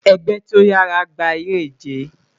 Ẹgbẹ ti o yara gba ere-ije